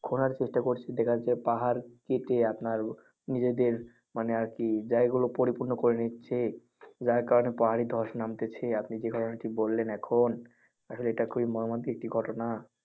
খোঁড়ার চেষ্টা করছে যেটা হচ্ছে পাহাড় কেটে আপনার নিজেদের মানে আর কি জায়গা গুলো পরিপূর্ণ করে নিচ্ছে যার কারণে পাহাড়ে ধস নামতেছে আপনি যে ঘটনা টি বললেন এখন. এটা খুবই একটি মৰ্মান্তিক একটি ঘটনা।